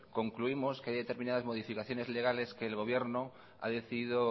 concluimos que hay determinadas modificaciones legales que el gobierno ha decidido